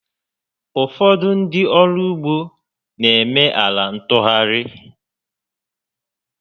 Ụfọdụ ndị ọrụ ụgbọ na eme ala ntụgharị